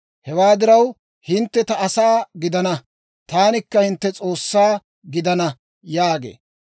Hewaa diraw, hintte ta asaa gidana; taanikka hintte S'oossaa gidanawaa» yaagee.